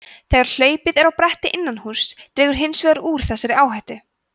þegar hlaupið er á bretti innan húss dregur hins vegar úr þessari áhættu